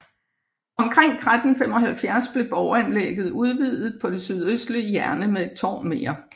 Omkring 1375 blev borganlægget udvidet på det sydøstlige hjørne med et tårn mere